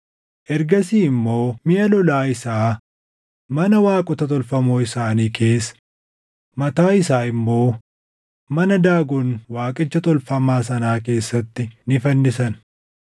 Ergasii immoo miʼa lolaa isaa mana waaqota tolfamoo isaanii keessa, mataa isaa immoo mana Daagon waaqicha tolfamaa sanaa keessatti ni fannisan.